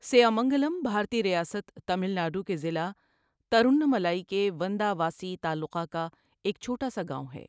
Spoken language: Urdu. سیامنگلم بھارتی ریاست تامل ناڈو کے ضلع ترووننملائی کے ونداواسی تعلقہ کا ایک چھوٹا سا گاؤں ہے۔